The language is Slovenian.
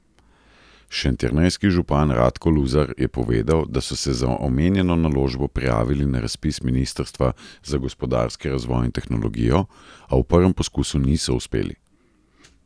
Šentjernejski župan Radko Luzar je povedal, da so se za omenjeno naložbo prijavili na razpis ministrstva za gospodarski razvoj in tehnologijo, a v prvem poskusu niso uspeli.